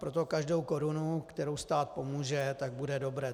Proto každá koruna, kterou stát pomůže, tak bude dobrá.